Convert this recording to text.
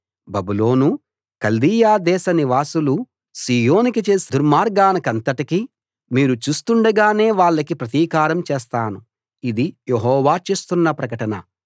బబులోనూ కల్దీయ దేశనివాసులూ సీయోనుకి చేసిన దుర్మార్గానికంతటికీ మీరు చూస్తుండగానే వాళ్లకి ప్రతీకారం చేస్తాను ఇది యెహోవా చేస్తున్న ప్రకటన